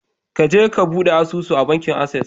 Kaje ka bude asusu a bankin Access.